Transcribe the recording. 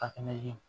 A fɛnɛ ye